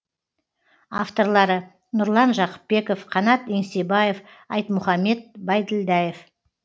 авторлары нұрлан жақыпбеков қанат еңсебаев айтмұхаммед байділдаев